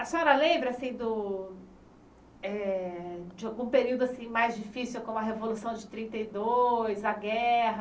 A senhora lembra do eh de algum período assim mais difícil, como a Revolução de trinta e dois, a guerra?